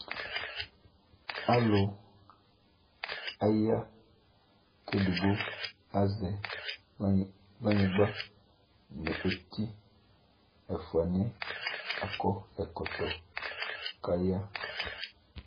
Alʋ aya : k'edigbo azɛ kplanyɩgba nʋ eti Ɛfʋanɩɛ akɔ ɛkɔtɔ k'aya